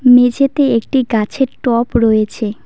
মেঝেতে একটি গাছের টব রয়েছে।